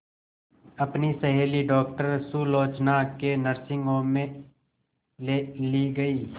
अपनी सहेली डॉक्टर सुलोचना के नर्सिंग होम में ली गई